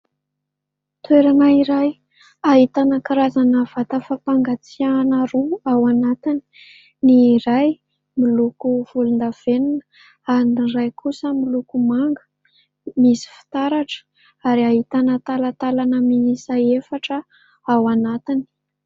Toerana iray ahitanavkarazana vata fampangatsihana roa ao anatiny ny ray miloko volon-davenina ary ny iray kosa miloko manga misy fitaratra ary ahitana talatalana mihisa efatra ao anatiny.